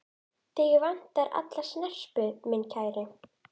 Þig vantar alla snerpu, minn kæri.